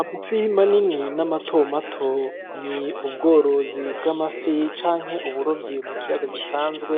Amafi manini na matomato, ni ubworozi bw'amafi canke uburovyi mu kiyaga gisanzwe